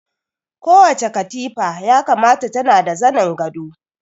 Kowace katifa ya kamata tana da zanin gado